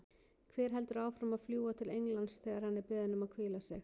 Hver heldur áfram að fljúga til Englands þegar hann er beðinn um að hvíla sig?